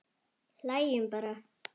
Hlæjum bara.